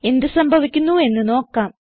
എന്ത് സംഭവിക്കുന്നുവെന്ന് നോക്കാം